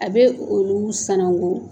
A bɛ olu sanango.